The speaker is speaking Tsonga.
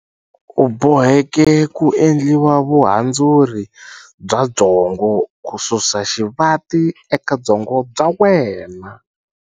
U boheke ku endliwa vuhandzuri bya byongo ku susa xivati eka byongo bya wena.